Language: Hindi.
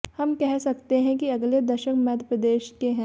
हम कह सकते हैं कि अगले दशक मध्यप्रदेश के हैं